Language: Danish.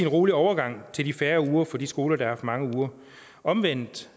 rolig overgang til de færre uger for de skoler der har haft mange uger omvendt